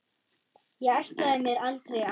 Ég ætlaði mér aldrei að.